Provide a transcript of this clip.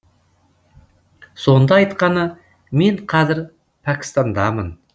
сонда айтқаны мен қазір пәкістандамын